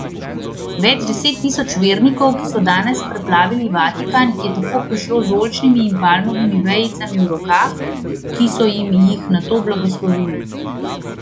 Več deset tisoč vernikov, ki so danes preplavili Vatikan, je tako prišlo z oljčnimi in palmovimi vejicami v rokah, ki so jim jih nato blagoslovili.